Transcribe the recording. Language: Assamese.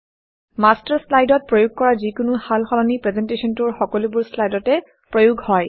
মাষ্টাৰ মাষ্টাৰ শ্লাইডত প্ৰয়োগ কৰা যিকোনো সাল সলনি প্ৰেজেণ্টেশ্যনটোৰ সকলোবোৰ শ্লাইডতে প্ৰয়োগ হয়